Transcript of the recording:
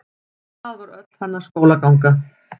Það var öll hennar skólaganga.